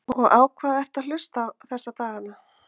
og á hvað ertu að hlusta þessa daga?